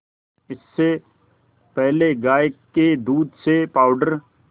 इससे पहले गाय के दूध से पावडर